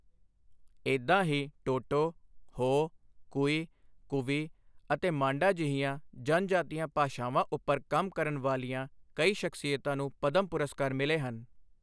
ਏਦਾਂ ਹੀ ਟੋਟੋ, ਹੋ, ਕੁਈ, ਕੁਵੀ ਅਤੇ ਮਾਂਡਾ ਜਿਹੀਆਂ ਜਨਜਾਤੀਆਂ ਭਾਸ਼ਾਵਾਂ ਉੱਪਰ ਕੰਮ ਕਰਨ ਵਾਲੀਆਂ ਕਈ ਸ਼ਖ਼ਸੀਅਤਾਂ ਨੂੰ ਪਦਮ ਪੁਰਸਕਾਰ ਮਿਲੇ ਹਨ।